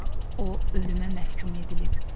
O ölümə məhkum edilib.